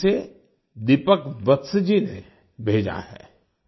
इसे दीपक वत्स जी ने भेजा है